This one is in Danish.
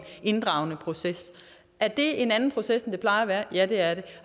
inddragende proces er det en anden proces end det plejer at være ja det er det